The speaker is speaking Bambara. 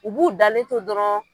U b'u dalento dɔrɔn.